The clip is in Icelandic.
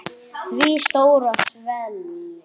Því stóra svelli.